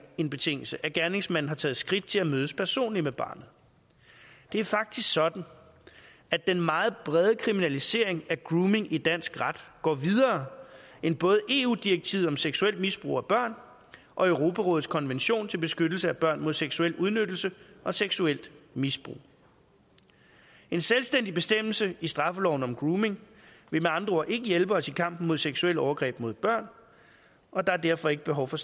en betingelse at gerningsmanden har taget skridt til at mødes personligt med barnet det er faktisk sådan at den meget brede kriminalisering af grooming i dansk ret går videre end både eu direktivet om seksuelt misbrug af børn og europarådets konvention til beskyttelse af børn mod seksuel udnyttelse og seksuelt misbrug en selvstændig bestemmelse i straffeloven om grooming vil med andre ord ikke hjælpe os i kampen mod seksuelle overgreb mod børn og der er derfor ikke behov for